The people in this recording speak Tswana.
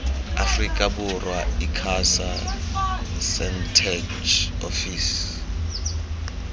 aforika borwa icasa sentech ofisi